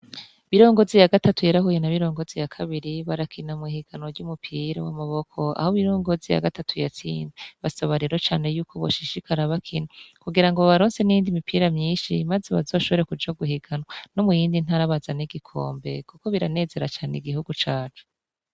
Mirongozi ya gatatu yarahuye na Mirongozi ya kabiri barakina mw'ihiganwa ry'umupira w'amaboko aho Mirongozi ya gatatu yatsinze, basaba rero cane yuko boshishikara bakina kugira babaronse n'iyindi mipira myinshi maze bazoshobore kuja guhiganwa no mu yindi ntara bazane igikombe kuko biranezera cane igihugu cacu.